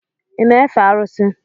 Ị na-efe arụsị?